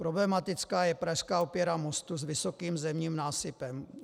Problematická je prasklá opěra mostu s vysokým zemním násypem.